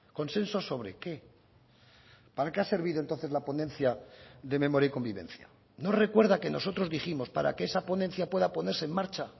consenso sobre qué para qué ha servido entonces la ponencia de memoria y convivencia no recuerda que nosotros dijimos para que esa ponencia pueda ponerse en marcha